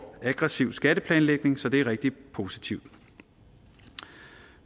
aggressiv skatteplanlægning så det er rigtig positivt